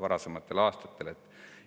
varasematel aastatel põhjustas.